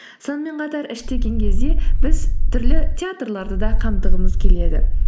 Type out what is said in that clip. сонымен қатар кезде біз түрлі театрларды да қамтығымыз келеді